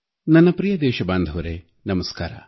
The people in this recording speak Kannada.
ನನ್ನ ಪ್ರಿಯ ದೇಶಬಾಂಧವರೇ ನಮಸ್ಕಾರ